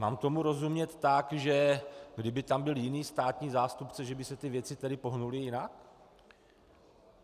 Mám tomu rozumět tak, že kdyby tam byli jiní státní zástupci, že by se ty věci tedy pohnuly jinak?